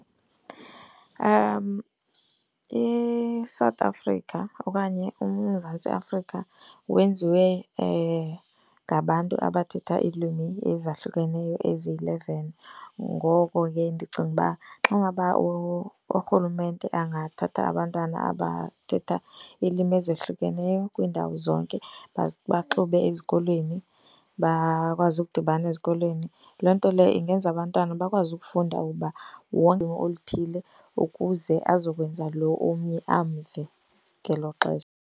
ISouth Africa okanye uMzantsi Afrika wenziwe ngabantu abathetha iilwimi ezahlukeneyo ezi-eleven. Ngoko ke ndicinga uba xa ngaba urhulumente angathatha abantwana abathetha iilwimi ezehlukeneyo kwiindawo zonke baze baxube ezikolweni, bakwazi ukudibana ezikolweni. Loo nto leyo ingenza abantwana bakwazi ukufunda uba oluthile ukuze azokwenza lo omnye amve ngelo xesha.